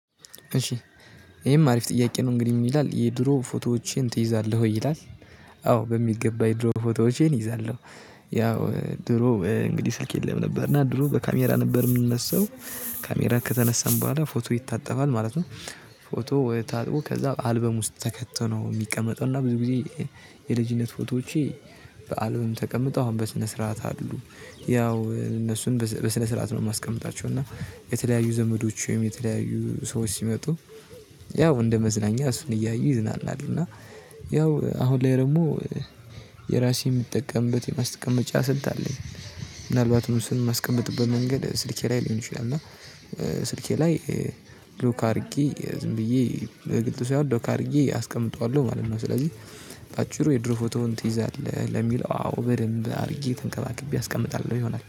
እሺ፣ ይሄም አሪፍ ጥያቄ ነው። እንግዲህ ምን ይላል፣ የድሮ ፎቶዎችን ትይዛለህ ወይ? ይላል አዎ በሚገባ። የድሮ ፎቶዎቼን ይዛለሁ። ያው፣ ድሮ እንግዲህ ስልክ የለም ነበር። እና ድሮ በካሜራ ነበር ምንነሳው ከተነሳን በኋላ ፎቶ ይታጠባል ማለት ነው። ፎቶ ታጥቦ፣ ከዛ አልበም ውስጥ ተከቶ ነው ሚቀመጠውና ብዙ ጊዜ፣ የልጅነት ፎቶዎቼ በአልበም ተቀምጠው አሁን በስነ ስርዓት አሉ። ያው እነሱን በስነ ስርዓት ነው ማስቀምጣቸው እና የተለያዩ ዘመዶችም የተለያዩ ሰዎች ሲመጡ፣ ያው እንደ መዝናኛ እሱን እያዩ ይዝናናሉ እና ያው አሁን ላይ ደግሞ፣ የራሴ ምጠቀምበት የማስቀመጫ ስልት አለኝ። ምናልባት ነው ምስሉን ማስቀምጥበት መንገድ ስልኬ ላይ ሊሆን ይችላል እና ስልኬ ላይ ሎክ አድርጌ ዝም ብዬ በግልጥ ሳይሆን ሎክ አድርጌ አስቀምጠዋለሁ ማለት ነው ስለዚህ በአጭሩ የድሮ ፎቶውን ትይዛለህ ለሚለው አዎ በደንብ አድርጌ ተንከባክቤ አስቀምጣለሁ ይሆናል